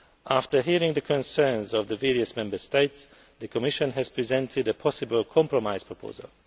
After hearing the concerns of the various Member States, the Commission has presented a possible compromise proposal.